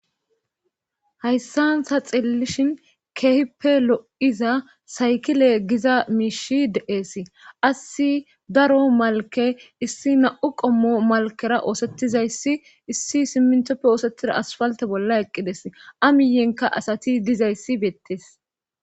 hayssanta xillishin keehippe lo7iza saykile giza miishi de7ees assi daro malke issi na7u qommo malkera oosettizayssi issi simmintoppe oosettida asfalte bolla eqqides amiyenka asati dizayssi beettes